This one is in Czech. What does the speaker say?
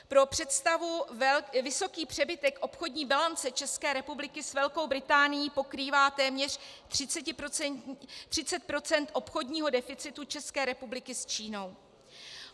Pro představu, vysoký přebytek obchodní bilance České republiky s Velkou Británii pokrývá téměř 30 % obchodního deficitu České republiky s Čínou.